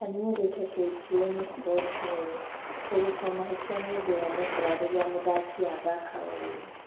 Kanyi erite KTN Sport ũũ: "Kũrutũo mahitia ni ũndũ wonekaga rĩrĩa mũthaki athaka ũru